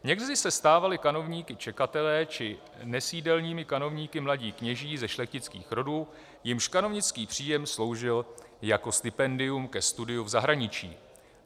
Někdy se stávali kanovníky čekatelé či nesídelními kanovníky mladí kněží ze šlechtických rodů, jimž kanovnický příjem sloužil jako stipendium ke studiu v zahraničí.